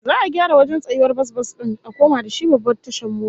Za'a gyara wajen tsayawar bas-bas din a koma da shi babbar tashar mota